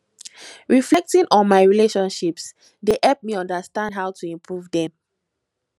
reflecting on my relationships dey help me understand how to improve dem